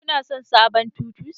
Kuna son sabon titus?